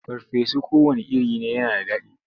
Farfesu kowanne iri ne yana da daɗi.